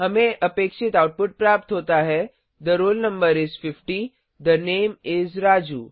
हमें अपेक्षित आउटपुट प्राप्त होता है the roll number is 50 the name is Raju